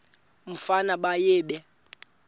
umfana baye bee